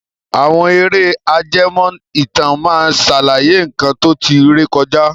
Àwọn ère ajẹmó ìtàn máa sàlàyé nkan to tí ré kọjá